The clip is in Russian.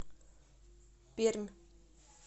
пермь